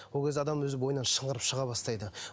ол кезде адам өзі бойынан шыңғырып шыға бастайды